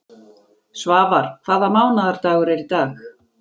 Svafar, hvaða mánaðardagur er í dag?